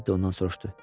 Teddi ondan soruşdu.